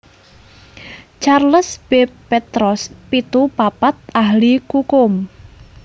Charles B Peatross pitu papat ahli kukum